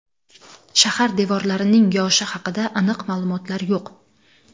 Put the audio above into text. Shahar devorlarining yoshi haqida aniq ma’lumotlar yo‘q.